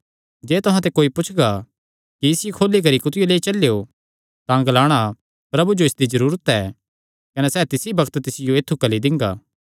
जे तुहां ते कोई पुछगा कि इसियो खोली करी कुत्थियो लेई चलेयो तां ग्लाणा प्रभु जो इसदी जरूरत ऐ कने सैह़ तिसी बग्त तिसियो ऐत्थु घल्ली दिंगा